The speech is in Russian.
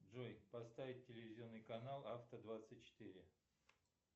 джой поставить телевизионный канал авто двадцать четыре